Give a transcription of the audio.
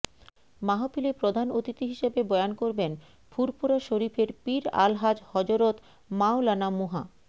মাহফিলে প্রধান অতিথি হিসেবে বয়ান করবেন ফুরফুরা শরীফের পীর আলহাজ হযরত মাওলানা মুহা